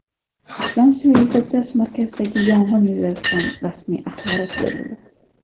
Islom sivilizatsiyasi markazidagi yong‘in yuzasidan rasmiy axborot berildi.